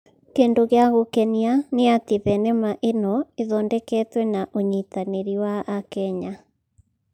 Kĩndũ gĩa gũkenia nĩ atĩ thenema ĩno ĩthondeketwo na ũnyitanĩrĩ wa akenya